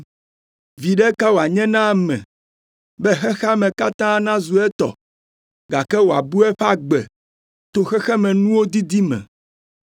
“Viɖe ka wòanye na ame be xexea me katã nazu etɔ, gake wòabu eƒe agbe to xexemenuwo didi me?